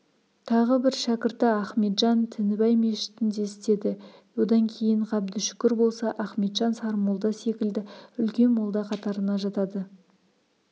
тағы бір шәкірті ахметжан тінібай мешітінде істеді одан кейін ғабдышүкір болса ахметжан сармолда секілді үлкен молда қатарына жатады